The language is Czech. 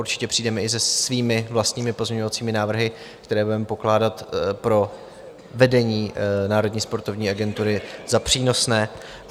Určitě přijdeme i se svými vlastními pozměňovacími návrhy, které budeme pokládat pro vedení Národní sportovní agentury za přínosné.